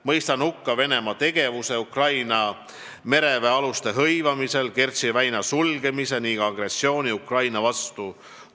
Mõistan hukka Venemaa tegevuse Ukraina mereväealuste hõivamisel, Kertši väina sulgemise ning agressiooni Ukraina vastu.